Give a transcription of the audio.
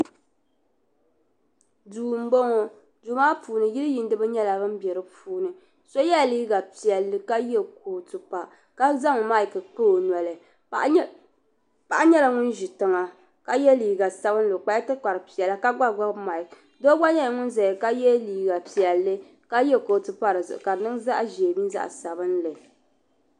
duu m-bɔŋɔ duu maa puuni yiiyiiniba nyɛla ban be di puuni so yela liiga piɛlli ka ye kootu pa ka zaŋ maayiki kpa o noli paɣa nyɛla ŋun ʒi tiŋa ka ye liiga sabinlli o kpala tikpar' piɛlla ka gba gbibi maayiki doo gba nyɛla ŋun zaya ka ye liiga piɛlli ka ye kootu pa di zuɣu ka di niŋ zaɣ' ʒee mini zaɣ' sabinlli